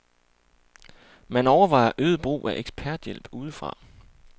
Man overvejer øget brug af eksperthjælp udefra.